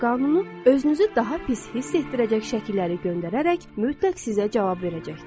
Cazibə qanunu özünüzü daha pis hiss etdirəcək şəkilləri göndərərək mütləq sizə cavab verəcəkdir.